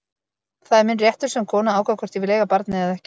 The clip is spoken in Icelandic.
Það er minn réttur sem konu að ákveða hvort ég vil eiga barnið eða ekki.